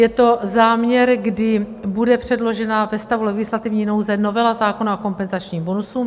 Je to záměr, kdy bude předložena ve stavu legislativní nouze novela zákona o kompenzačním bonusu.